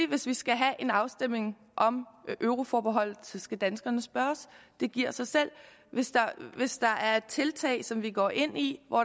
hvis vi skal have en afstemning om euroforbeholdet skal danskerne selvfølgelig spørges det giver sig selv hvis der er et tiltag som vi går ind i og